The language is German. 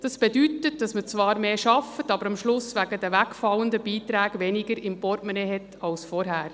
Das bedeutet: Man arbeitet zwar mehr, hat wegen der wegfallenden Beiträge am Ende aber weniger im Portemonnaie als zuvor.